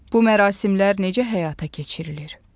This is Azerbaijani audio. Bu mərasimlər necə həyata keçirilir?